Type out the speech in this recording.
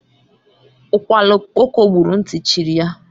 Ukwala okpoko gburu, ntị chiri ya.